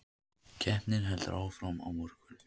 Keppni heldur áfram á morgun